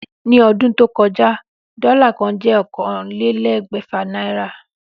Ní o̩dún tó ko̩já, dó̩là kan jé̩ ókànlélé̩gbè̩fà náírà